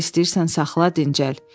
Harda istəyirsən saxla dincəl.